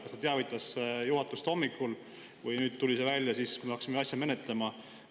Kas ta teavitas juhatust hommikul või tuli see välja nüüd, kui me hakkasime asja menetlema?